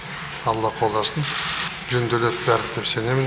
алла қолдасын жөнделеді бәрі деп сенемін